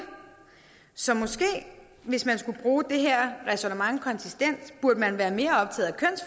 så måske hvis man skulle bruge det her ræsonnement konsistent burde man være mere optaget